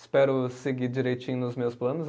Espero seguir direitinho nos meus planos.